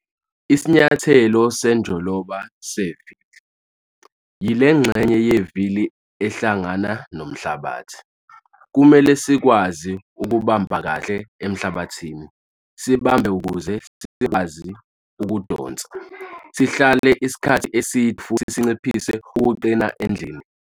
Isinyathelo senjoloba sevili - yile ngxenye yevili ehlangana nomhlabathi. Kumele sikwazi ukubamba kahle emhlabathini, sibambe ukuze sikwazi ukudonsa, sihlale isikhathi eside futhi sinciphise ukuqina endleleni.